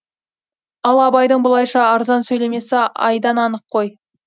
ал абайдың бұлайша арзан сөйлемесі айдан анық қой